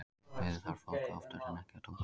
Á flugvelli þarf fólk oftar en ekki að doka við.